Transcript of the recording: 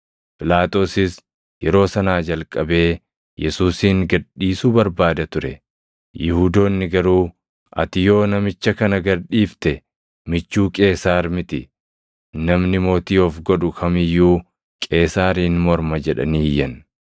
Phiilaaxoosis yeroo sanaa jalqabee Yesuusin gad dhiisuu barbaada ture; Yihuudoonni garuu, “Ati yoo namicha kana gad dhiifte michuu Qeesaar miti. Namni mootii of godhu kam iyyuu Qeesaariin morma” jedhanii iyyan.